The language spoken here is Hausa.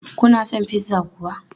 Kuna son pizza kuwa?